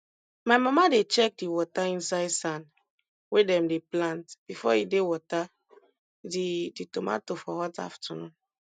my mama dey check di water inside sand wey dem dey plant before e dey water di di tomato for hot afternoon